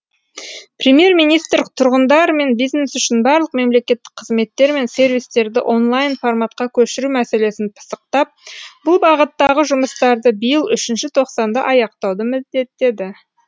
премьер министр тұрғындар мен бизнес үшін барлық мемлекеттік қызметтер мен сервистерді онлайн форматқа көшіру мәселесін пысықтап бұл бағыттағы жұмыстарды биыл үшінші тоқсанда аяқтауды міндеттеді